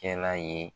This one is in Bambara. Kɛ n'a ye